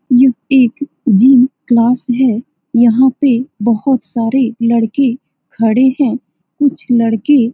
यह एक gym class है यहाँ पे बहुत सारे लड़के खड़े हैं कुछ लड़के --